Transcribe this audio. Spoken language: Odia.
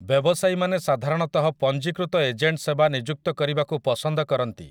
ବ୍ୟବସାୟୀମାନେ ସାଧାରଣତଃ ପଞ୍ଜୀକୃତ ଏଜେଣ୍ଟ ସେବା ନିଯୁକ୍ତ କରିବାକୁ ପସନ୍ଦ କରନ୍ତି ।